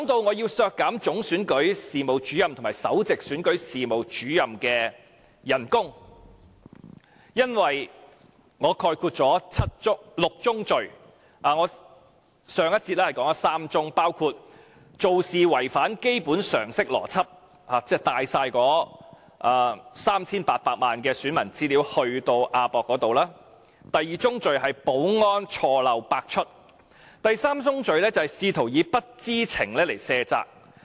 我要削減總選舉事務主任及首席選舉事務主任的薪酬，因為我概括了6宗罪，我在上一節已提及3宗，包括做事違反基本常識邏輯，即攜帶全部 3,800 萬名選民資料往亞洲國際博覽館；第二宗罪是保安錯漏百出；第三宗罪是試圖以不知情來卸責。